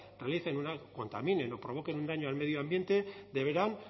realicen una contaminen o provoquen un daño al medio ambiente deberán